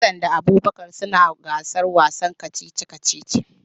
Hassan da Abubakar suna gasar wasan kacici-kacici.